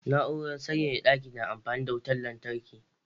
Na'urar sanyaya ɗaki na amfani da wutar lantarki